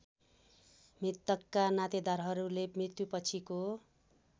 मृतकका नातेदारहरूले मृत्युपछिको